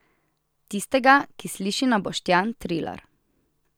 Tistega, ki sliši na Boštjan Trilar.